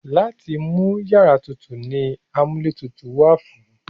Láti mú iyàrá tutù ni amúlétutù wà fún.